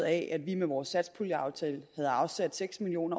af at vi med vores satspuljeaftale havde afsat seks million